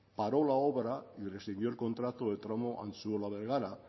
paró la obra y rescindió el contrato del tramo antzuola bergara